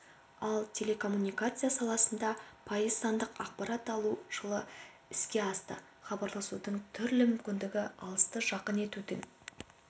ал телекоммуникация саласында пайыз сандық ақпарат алу жылы іске асты хабарласудың түрлі мүмкіндігі алысты жақын етудің